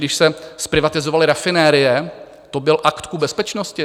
Když se zprivatizovaly rafinerie, to byl akt ku bezpečnosti?